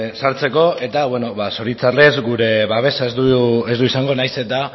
sartzeko eta zoritzarrez gure babesa ez du izango nahiz eta